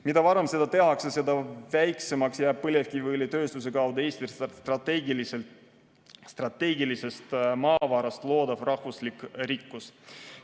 Mida varem seda tehakse, seda väiksemaks jääb põlevkiviõlitööstuse kaudu Eestile strateegilisest maavarast loodav rahvuslik rikkus.